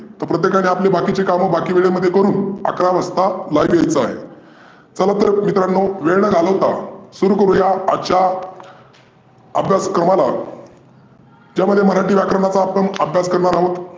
प्रत्येकाने आपले बाकिचे काम बाकी वेडे मध्ये करून अकरा वाजता live यायचे आहे. चला तर मित्रांनो वेळ न घालवता सुरू करुया आजच्या अभ्यासक्रमाला ज्यामध्ये मराठी व्याकरणाचा आपण अभ्यास करणार आहोत.